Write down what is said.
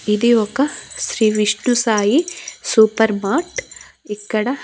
ఇది ఒక Shri Vishnu Sai super mart ఇక్కడ--